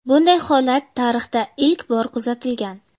Bunday holat tarixda ilk bor kuzatilgan.